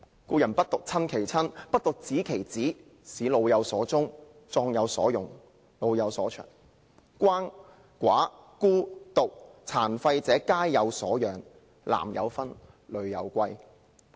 故人不獨親其親，不獨子其子，使老有所終，壯有所用，幼有所長，鰥、寡、孤、獨、廢疾者皆有所養，男有分，女有歸。